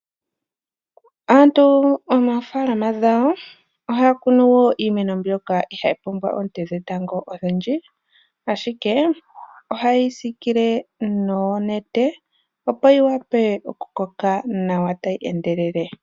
Aantu moofaalama dhawo ohaya kunu wo iimeno mbyoka ihayi pumbwa oonte dhetango odhindji. Ashike oha yeyi siikile noonete opo yi wape oku koka nawa tayi endelele